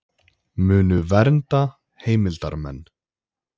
Munu vernda heimildarmenn